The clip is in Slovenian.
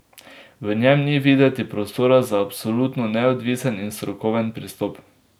V njem ni videti prostora za absolutno neodvisen in strokoven pristop.